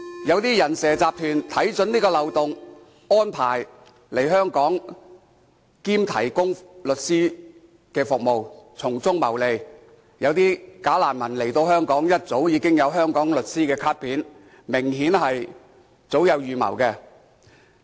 有些"人蛇"集團看準這個漏洞，安排他們來香港當"假難民"並提供律師服務，從中謀利，有些人來香港時已經有香港律師的卡片，明顯是早有預謀。